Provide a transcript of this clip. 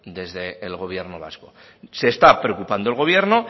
desde el gobierno vasco se está preocupando el gobierno